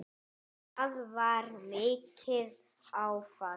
Það var mikið áfall.